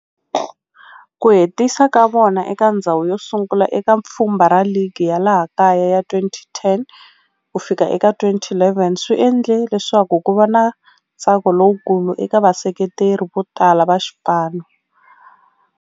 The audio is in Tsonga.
Ku hetisa ka vona eka ndzhawu yosungula eka pfhumba ra ligi ya laha kaya ya 2010 ku fika eka 2011 swi endle leswaku kuva na ntsako lowukulu eka vaseketeri votala va xipano.